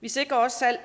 vi sikrer også at